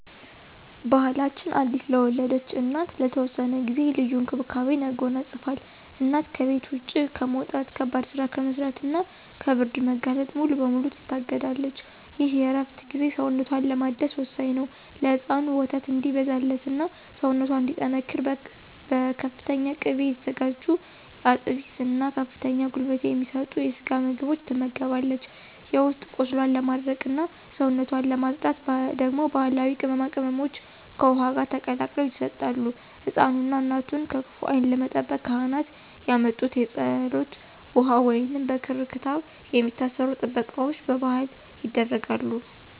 ባሕላችን አዲስ ለወለደች እናት ለተወሰነ ጊዜ ልዩ እንክብካቤን ያጎናጽፋል። እናት ከቤት ውጭ ከመውጣት፣ ከባድ ሥራ ከመሥራትና ከብርድ መጋለጥ ሙሉ በሙሉ ትታገዳለች። ይህ የእረፍት ጊዜ ሰውነቷን ለማደስ ወሳኝ ነው። ለሕፃኑ ወተት እንዲበዛላትና ሰውነቷ እንዲጠናከር በፍተኛ ቅቤ የተዘጋጁ አጥሚት እና ከፍተኛ ጉልበት የሚሰጡ የስጋ ምግቦች ትመገባለች። የውስጥ ቁስሏን ለማድረቅና ሰውነቷን ለማፅዳት ደግሞ ባሕላዊ ቅመማ ቅመሞች ከውኃ ጋር ተቀላቅለው ይሰጣሉ። ሕፃኑንና እናቱን ከክፉ ዓይን ለመጠበቅ ካህናት ያመጡት የፀሎት ውኃ ወይንም በክር/ክታብ የሚታሰሩ ጥበቃዎች በባሕል ይደረጋሉ።